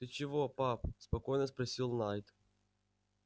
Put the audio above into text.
ты чего пап спокойно спросил найд